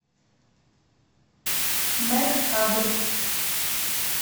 мэк адрес